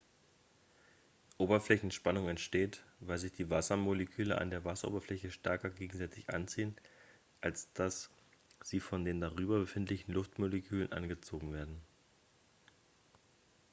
oberflächenspannung entsteht weil sich die wassermoleküle an der wasseroberfläche stärker gegenseitig anziehen als dass sie von den darüber befindlichen luftmolekülen angezogen werden